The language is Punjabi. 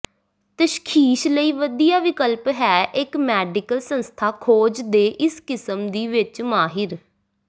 ਤਸ਼ਖੀਸ ਲਈ ਵਧੀਆ ਵਿਕਲਪ ਹੈ ਇੱਕ ਮੈਡੀਕਲ ਸੰਸਥਾ ਖੋਜ ਦੇ ਇਸ ਕਿਸਮ ਦੀ ਵਿਚ ਮਾਹਿਰ